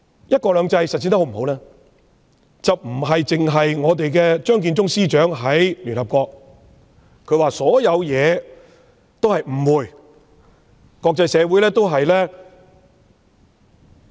"一國兩制"實踐的成效如何，不能單憑張建宗司長在聯合國所說的一兩句說話。